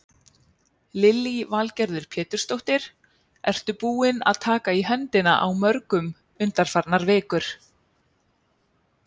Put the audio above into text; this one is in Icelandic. Lillý Valgerður Pétursdóttir: Ertu búinn að taka í höndina á mörgum undanfarnar vikur?